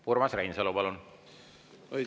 Urmas Reinsalu, palun!